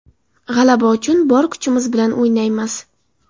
G‘alaba uchun bor kuchimiz bilan o‘ynaymiz.